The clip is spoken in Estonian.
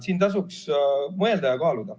Siin tasuks mõelda ja kaaluda.